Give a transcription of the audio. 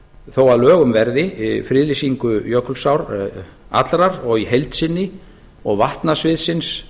þó að lögum verði friðlýsingu jökulsár allrar og í heild sinni og vatnasviðsins